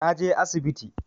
Na je asibiti